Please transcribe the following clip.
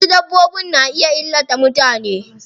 Wasu dabbbobin na iya illata mutane.